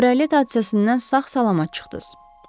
Kabarelt hadisəsindən sağ-salamat çıxdınız.